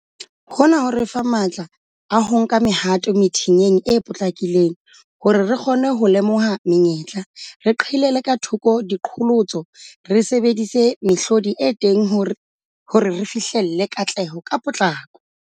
Hona ho re fa matla a ho nka mehato methinyeng e potlakileng hore re kgone ho lemoha menyetla, re qhelele ka thoko diqholotso, re sebedise mehlodi e teng hore re fihlelle katleho ka potlako.